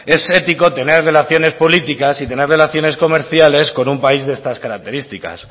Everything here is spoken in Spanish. es ético tener relaciones políticas y tener relaciones comerciales con un país de estas características